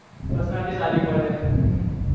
personality સારી પડે હમમ